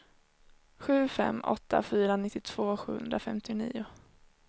sju fem åtta fyra nittiotvå sjuhundrafemtionio